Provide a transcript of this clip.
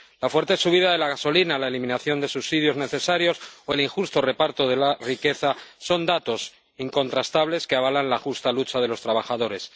La fuerte subida de la gasolina, la eliminación de subsidios necesarios o el injusto reparto de la riqueza son datos incontrastables que avalan la justa lucha de los trabajadores.